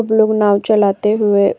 सब लोग नाव चलाते हुए --